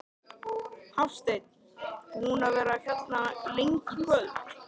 Hafsteinn: Búinn að vera hérna lengi í kvöld?